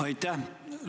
Aitäh!